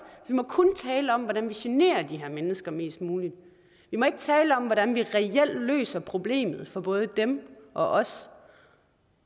vi må kun tale om hvordan vi generer de her mennesker mest muligt vi må ikke tale om hvordan vi reelt løser problemet for både dem og os